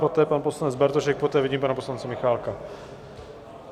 Poté pan poslanec Bartošek, poté vidím pana poslance Michálka.